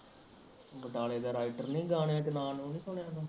ਬਟਾਲੇ ਦਾ ਰਾਇਟਰ ਨੀ ਗਾ ਗਾਣਿਆਂ ਚ ਨਾ ਨੂ ਨੀ ਸੁਣਿਆ ਤੂੰ